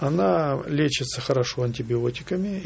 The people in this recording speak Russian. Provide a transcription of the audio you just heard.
она лечится хорошо антибиотиками